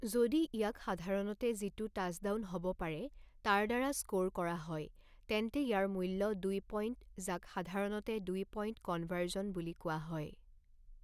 যদি ইয়াক সাধাৰণতে যিটো টাচডাউন হ'ব পাৰে তাৰ দ্বাৰা স্ক'ৰ কৰা হয় তেন্তে ইয়াৰ মূল্য দুই পইণ্ট যাক সাধাৰণতে দুই পইণ্ট কনভাৰ্জন বুলি কোৱা হয়।